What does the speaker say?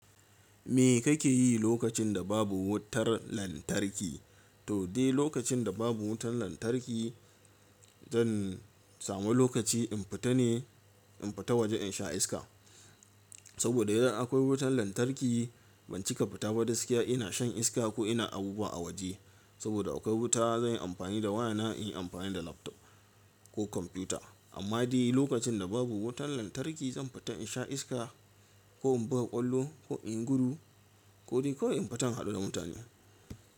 Me kake yi lokacin da babu wutar lantarki? To dai lokacin da babu wutar lantarki, zan samu lokaci in fita ne, in fita waje in sha iska. Saboda idan akwai wutan lantarki ban cika fita ba gaskiya ina shan iska ko ina abubuwa a waje. Saboda akwai wuta zan yi amfani da wayana, in yi amfani da laptop ko komputa. Amma dai lokacin da babu wutan lantarki zan fita in sha iska ko in buga ƙwallo ko in gudu ko dai kawai in fita in haɗu da mutane.